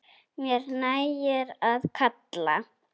Mér nægir að kalla.